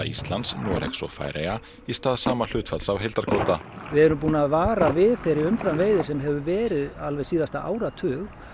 Íslands Noregs og Færeyja í stað sama hlutfalls af heildarkvóta við erum búin að vara við þeirri umframveiði sem hefur verið alveg síðasta áratug